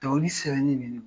Dɔnkili sɛbɛnni bɛ ne